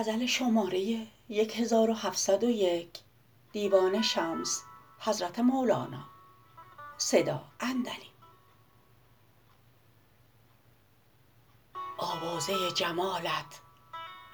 آوازه جمالت